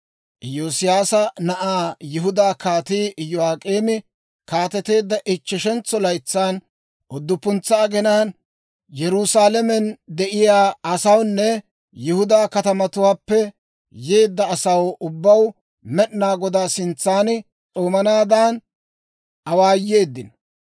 Iyoosiyaasa na'ay Yihudaa Kaatii Iyo'ak'eemi kaateteedda ichcheshentso laytsan, udduppuntsa aginaan, Yerusaalamen de'iyaa asawunne Yihudaa katamatuwaappe yeedda asaw ubbaw Med'inaa Godaa sintsan s'oomanaadan awaayeeddino.